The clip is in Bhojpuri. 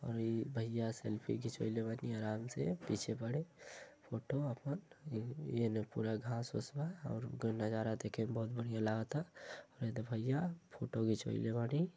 और ई भइया सेल्फी घिचवईले बानी आराम से पीछे पड़े। फोटो आपन। एमे पूरा घास ओस बा और नज़ारा देखे में बहुत बढ़िया लागता। द भइया फोटो घिचवईले बानी।